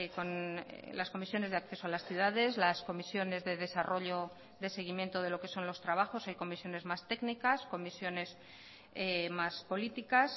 con las comisiones de acceso a las ciudades las comisiones de desarrollo de seguimiento de lo que son los trabajos hay comisiones más técnicas comisiones más políticas